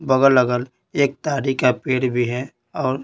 बगल-अगल एक तारी का पेड़ भी है और--